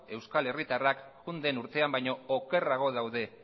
euskal herritarrak joan den urtean baino okerrago daude